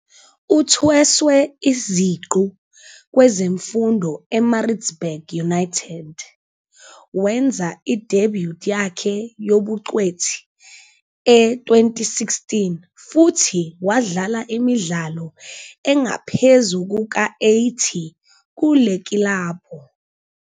Uthweswe iziqu kwezemfundo eMaritzburg United, wenza i-debut yakhe yobungcweti e-2016 futhi wadlala imidlalo engaphezu kuka-80 kule kilabhu.